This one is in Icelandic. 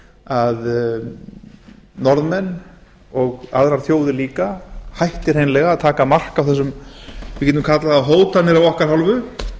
að norðmenn og aðrar þjóðir líka hætti hreinlega að taka mark á þessum við getum kallað það hótanir af okkar hálfu